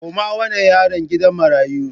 Koma wannan yaron gidan marayu!